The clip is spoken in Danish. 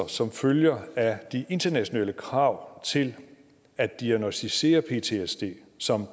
som følger af de internationale krav til at diagnosticere ptsd som